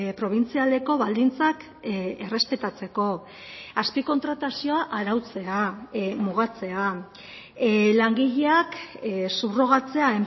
probintzialeko baldintzak errespetatzeko azpi kontratazioa arautzea mugatzea langileak subrogatzea